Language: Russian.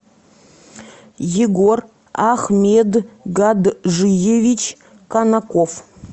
егор ахмедгаджиевич канаков